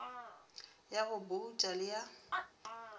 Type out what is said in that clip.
ya go bouta le ya